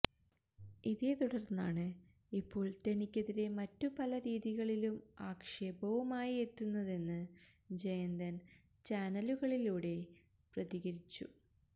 ഇതേ തുടര്ന്നാണ് ഇപ്പോള് തനിക്കെതിരെ മറ്റു പല രീതികളിലും ആക്ഷേപവുമായി എത്തുന്നതെന്ന് ജയന്തന് ചാനലുകളിലൂടെ പ്രതികരിച്ചു